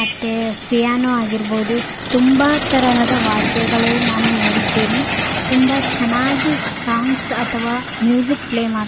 ಮತ್ತೆ ಫೀಯಾನೊ ಆಗಿರ್ಬಹುದು ತುಂಬಾ ತರಹದ ವಾದ್ಯಗಳು ನಾನು ನೋಡಿದ್ದೇನೆ ತುಂಬಾ ಚೆನ್ನಾಗಿ ಸೋಂಗ್ಸ್ ಅಥವಾ ಮ್ಯೂಸಿಕ್ ಪ್ಲೇ ಮಾಡ್ --